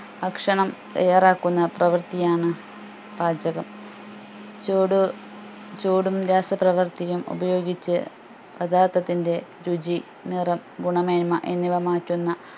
ഭക്ഷണം തയ്യാറാക്കുന്ന പ്രവർത്തിയാണ് പാചകം ചൂട് ചൂടും രാസപ്രവർത്തിയും ഉപയോഗിച്ച് പഥാർത്ഥത്തിന്റെ രുചി നിറം ഗുണമേന്മ എന്നിവ മാറ്റുന്ന